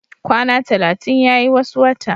Kwana talatin yayi wasu wata